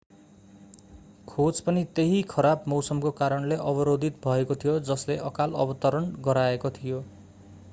खोज पनि त्यही खराब मौसमको कारणले अवरोधित भएको थियो जसले अकाल अवतरण गराएको थियो